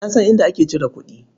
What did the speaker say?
Na san inda ake cire kuɗi.